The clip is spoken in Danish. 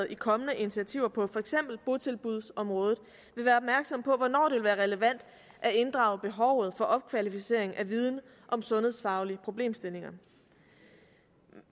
i kommende initiativer på for eksempel botilbudsområdet vil være opmærksom på hvornår det vil være relevant at inddrage behovet for opkvalificering af viden om sundhedsfaglige problemstillinger